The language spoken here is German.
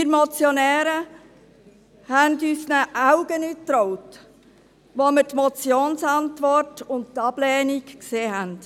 Wir Motionäre trauten unseren Augen nicht, als wir die Motionsantwort und die Ablehnung sahen.